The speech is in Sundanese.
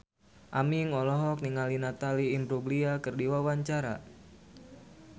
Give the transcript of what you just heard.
Aming olohok ningali Natalie Imbruglia keur diwawancara